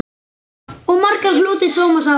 Og margur hlotið sóma af.